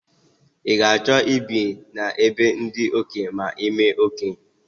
I ga achọ i bi na be ndị okenye ma imee okenye?